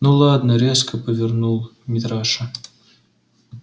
ну ладно резко повернул митраша